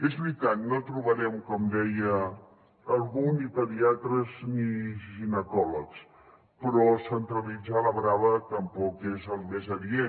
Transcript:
és veritat no trobarem com deia algú ni pediatres ni ginecòlegs però centralitzar a la brava tampoc és el més adient